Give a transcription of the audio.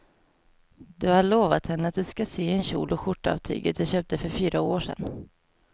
Du har lovat henne att du ska sy en kjol och skjorta av tyget du köpte för fyra år sedan.